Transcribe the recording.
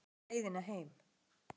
hver veit leiðina heim